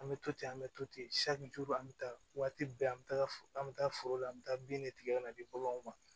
An bɛ to ten an bɛ to ten an bɛ taa waati bɛɛ an bɛ taa an bɛ taa foro la an bɛ taa bin ne tigɛ ka na di baganw ma